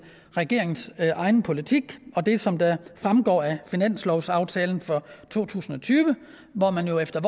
regeringens egen politik og det som fremgår af finanslovsaftalen for to tusind og tyve hvor man jo efter